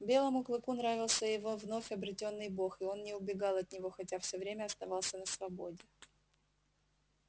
белому клыку нравился его вновь обретённый бог и он не убегал от него хотя всё время оставался на свободе